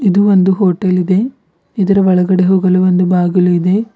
ಇದು ಒಂದು ಹೋಟೆಲ್ ಇದೆ ಇದರ ಒಳಗಡೆ ಹೋಗಲು ಒಂದು ಬಾಗಿಲು ಇದೆ.